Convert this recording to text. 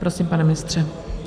Prosím, pane ministře.